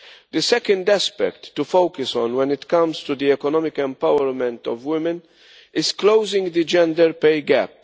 The second aspect to focus on when it comes to the economic empowerment of women is closing the gender pay gap.